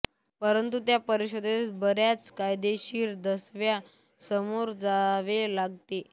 परंतु त्या परिषदेस बऱ्याच कायदेशीर दाव्यास सामोरे जावे लागते